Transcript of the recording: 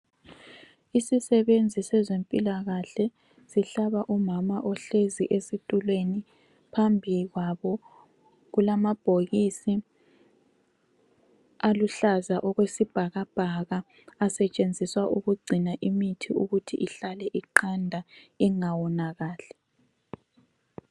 Isisebenzi sezempilakahle sihlaba umama ohlezi esitulweni. Phambi kwabo kulamabhokisi aluhlaza okwesibhakabhaka asetshenziswa ukugcina imithi ukuthi ihlale iqanda ingawonakali.